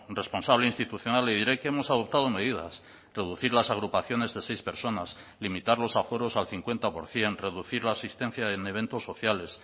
responsable institucional le diré que hemos adoptado medidas reducir las agrupaciones de seis personas limitar los aforos al cincuenta por ciento reducir la asistencia en eventos sociales